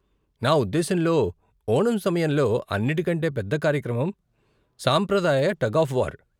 నా ఉద్దేశ్యంలో ఓణం సమయంలో అన్నిటికంటే పెద్ద కార్యక్రమం సాంప్రదాయ టగ్ ఆఫ్ వార్.